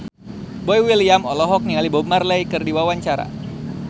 Boy William olohok ningali Bob Marley keur diwawancara